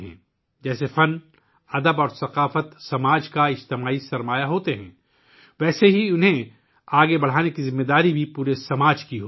جس طرح فن، ادب اور ثقافت معاشرے کا اجتماعی سرمایہ ہیں، اسی طرح ان کو آگے لے جانا پورے معاشرے کی ذمہ داری ہے